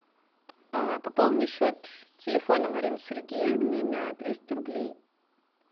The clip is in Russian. пополни счет телефона марины сергеевны на триста рублей